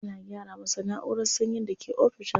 Ana gyara masa na'urar sanyin da ke ofishin sa.